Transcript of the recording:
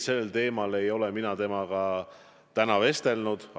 Sel teemal ei ole mina temaga täna vestelnud.